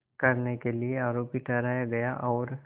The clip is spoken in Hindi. करने के लिए आरोपी ठहराया गया और